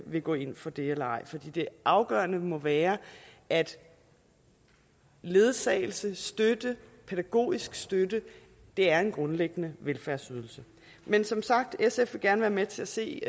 vil gå ind for det eller ej for det afgørende må være at ledsagelse støtte pædagogisk støtte er en grundlæggende velfærdsydelse men som sagt vil sf gerne være med til at se